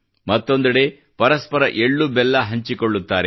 ಮತ್ತೊಂದೆಡೆ ಪರಸ್ಪರ ಎಳ್ಳು ಬೆಲ್ಲ ಹಂಚಿಕೊಳ್ಳುತ್ತಾರೆ